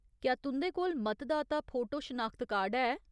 क्या तुं'दे कोल मतदाता फोटो शनाखत कार्ड है ?